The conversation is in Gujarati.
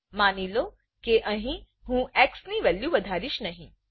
માનીલો કે અહી હું xની વેલ્યુ વધારીશ નહિ